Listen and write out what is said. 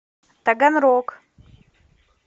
таганрог